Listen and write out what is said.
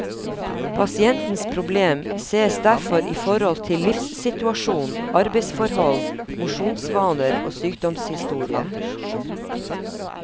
Pasientens problem sees derfor i forhold til livssituasjon, arbeidsforhold, mosjonsvaner og sykdomshistorie.